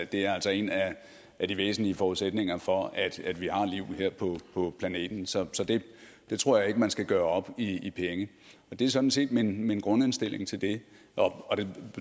det er altså en af de væsentlige forudsætninger for at at vi har liv her på på planeten så det tror jeg ikke man skal gøre op i i penge det er sådan set min min grundindstilling til det og den